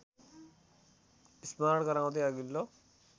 स्मरण गराउँदै अघिल्लो